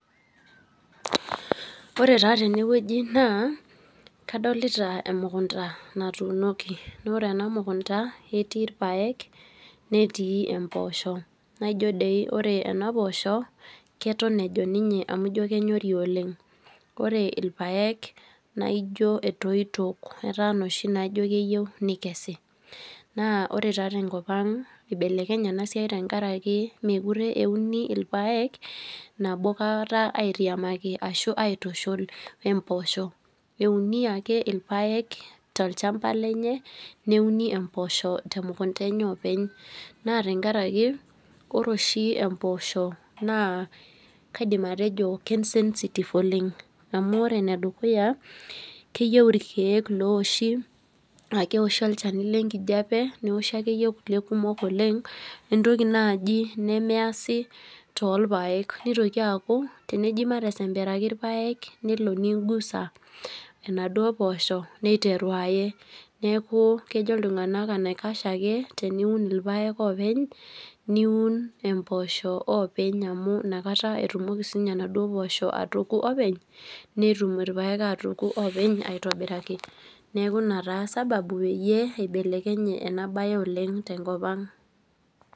Ore ta teneweji naa kadolita emukunta naatuunoki naa ore ena mukunta, ketii irpaek netii mpoosho, naijo ore enapoosho keton ejon ninye amu kenyori oleng naa ore irpaek etoyio eta ijo loshi loyieu neike. Naa ore taa tenkop ang eibelekenya ena siai tenkaraki meekure euni irpaek nabokata ashu aitushul oposho. Euni ake irpaek tolchampa lenye neuni empoosho temukunta enye oopeny. Naa tenkaraki ore oshi empoosho naa kaidim atejo ke sensitive oleng. Amu ore enedukuya keyieu irkeek loowoshi ,keoshi olchani lenkijiepe neoshi akeyie irkulie kumok olengentoki naaji nemeesi torpaek, nitoki aaku teneji matesemberaki irpaek nelo ningusa enaduo poosho neiteru aye ,neeku kejo iltunganak enaikash ake teniun irpaek openy niun empoosho openy amu inakata etumoki siininye enaduo poosho atoki openy netum irpaek atoki openy aitobiraki .Neeku ina sababu peyie eibelekenye ena bae tenkopang.